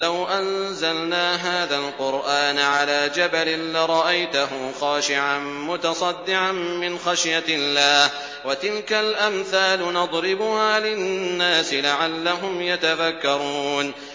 لَوْ أَنزَلْنَا هَٰذَا الْقُرْآنَ عَلَىٰ جَبَلٍ لَّرَأَيْتَهُ خَاشِعًا مُّتَصَدِّعًا مِّنْ خَشْيَةِ اللَّهِ ۚ وَتِلْكَ الْأَمْثَالُ نَضْرِبُهَا لِلنَّاسِ لَعَلَّهُمْ يَتَفَكَّرُونَ